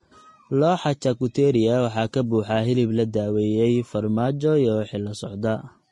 Looxa charcuterie waxaa ka buuxa hilib la daweeyay, farmaajo, iyo wixii la socda.